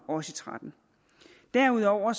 og tretten derudover